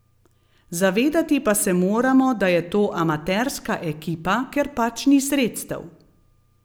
Zavedati pa se moramo, da je to amaterska ekipa, ker pač ni sredstev.